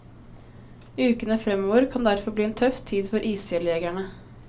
Ukene fremover kan derfor bli en tøff tid for isfjelljegerne.